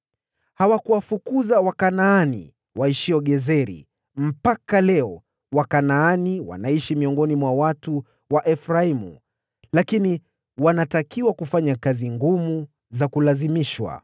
Hawakuwatoa Wakanaani waishio Gezeri; mpaka leo Wakanaani wanaishi miongoni mwa watu wa Efraimu lakini wanatakiwa kufanya kazi ngumu za kulazimishwa.